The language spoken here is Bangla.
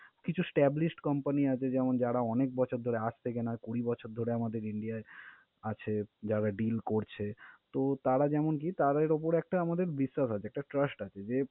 কিছু established company আছে যেমন যারা অনেক বছর ধরে আজ থেকে নয় কুড়ি বছর ধরে আমাদের India য় আছে, যারা deal করছে। তো, তারা যেমন কী? তাদের উপর একটা আমাদের বিশ্বাস আছে একটা trust আছে যে